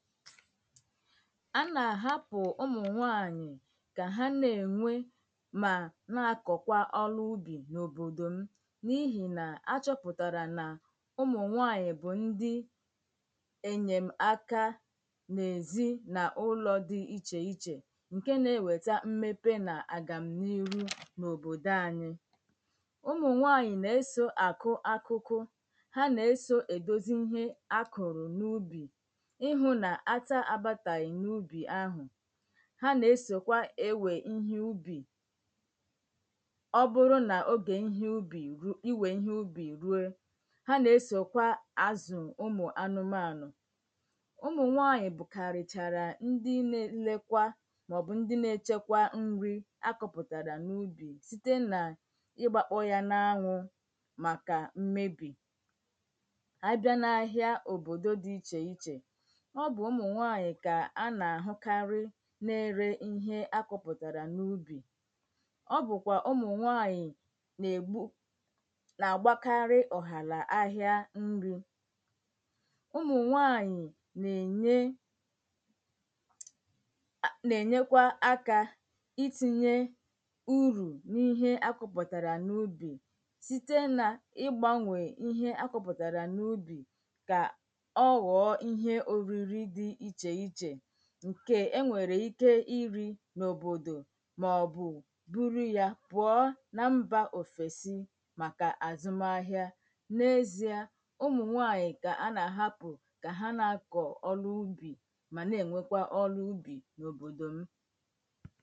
a nà-àhapụ̀ ụmụ̀nwaanyị̀ kà ha nà-ènwe mà na-akọ̀kwa ọrụ ubì n’òbòdò m n’ihì nà-áchọ̄pụ̀tàrà nà ụmụ̀nwaanyị̀ bụ̀ ndi ènyèm aka n’èzinaụlọ̀ di ichèichè ǹkè nà-ewèta mmepe nà àgàm n’íhu n’òbòdò anyī ụmụ̀nwaanyị̀ na-esò àkụ akụkụ ha na-esò èdozi ihe akụ̀rụ̀ n’ubì ịhụ̄ nà ata abàtàghị̀ n’ubì ahụ̀ ha na-esòkwa ewè ihé ubì ọ bụrụ n’ogè iwè ihe ubì ruo ha na-esòkwa azụ̀ ụmụ̀anụmànụ̀ ụmụ̀nwaanyị̀ bụ̀kàrìchàrà ndi nà-elekwa maọ̀bụ̀ ndi na-echekwa nri akọ̄pùtàrà n’ubì site n’ịgbākpọ̄ ya n’anwụ̄ màkà mmebì abịa na ahị̀a òbòdò di ichèichè ọ bụ̀ ụmụ̀nwaanyị̀ kà a nà-àhụkarị na-ere ihe akụ̄pụ̀tàrà n’ubì ọ bụ̀kwà ụmụ̀nwaanyị̀ nà-ègbu nà-àgbakarị ọ̀hàrà ahị̀a nrī ụmụ̀nwaanyị̀ nà-ènye nà-ènyekwa akā ítīnyē urù n’ihe akụ̄pụ̀tàrà n’ubì site n’ịgbānwè ihe akụ̄pụ̀tàrà n’ubì ka ọgọ̀ọ̀ ihe òriri di ichèichè ǹkè e nwèrè ike irī n’òbòdò maọ̀bụ̀ buru ya pụ̀ọ nà mbà òfèsi màkà àzụm ahị̀a n’ezìe ụmụ̀nwaanyị̀ kà a nà-àhapụ̀ ka ha nà-akọ̀ ọrụ ubì mà nà-ènwékwá ọ́rụ́ úbì n’òbòdò m̀